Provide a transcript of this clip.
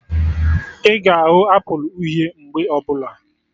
Ị ga ahụ Apụl uhie mgbe ọbụla